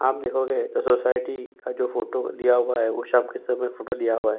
आप देखोगे तो जो सोसाइटी का फोटो लिया हुआ है वो शाम के समय फोटो लिया हुआ है।